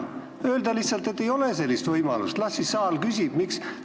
Kui öelda lihtsalt, et ei ole sellist võimalust, ja las siis saal küsib?